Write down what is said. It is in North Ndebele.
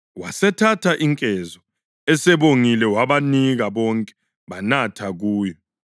Wasethatha inkezo, esebongile, wabanika, bonke banatha kuyo.